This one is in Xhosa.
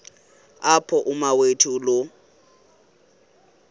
apho umawethu lo